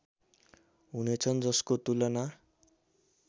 हुनेछन् जसको तुलना